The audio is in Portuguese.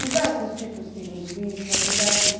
Diversos tipos de linguiça, diversos...